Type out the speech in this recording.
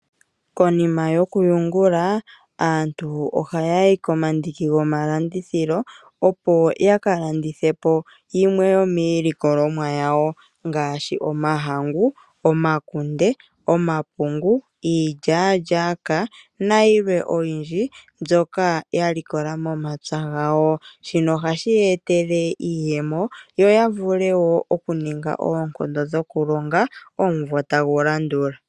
Konima yokuyungula aantu ohaya yi komandiki gomalandithilo opo ya ka landithe po yimwe yomiilikolomwa yawo ngaashi omahangu, omakunde, omapungu, iilyalyaka nayilwe oyindji mbyoka ya likola momapya gawo. Shino ohashi ye etele iiyemo yo ya ninge wo oonkondo dhokulonga omumvo tagu landula.